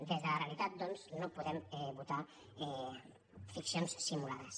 des de la realitat doncs no po·dem votar ficcions simulades